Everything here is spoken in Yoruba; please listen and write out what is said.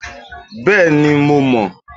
Bẹ́ẹ̀ni, mo mọn